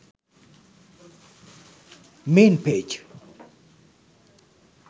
main page